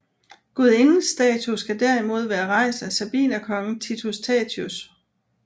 Gudindens statue skal derimod være rejst af sabinerkongen Titus Tatius